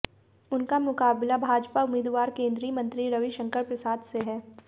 उनका मुकाबला भाजपा उम्मीदवार केंद्रीय मंत्री रविशंकर प्रसाद से है